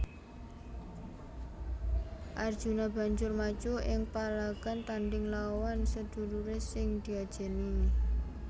Arjuna banjur maju ing palagan tandhing lawan seduluré sing diajeni